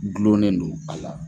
Gulonnen do a la.